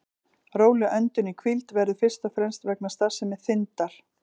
Róleg öndun í hvíld verður fyrst og fremst vegna starfsemi þindar.